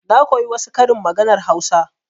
Na koyi wasu karin maganar hausa.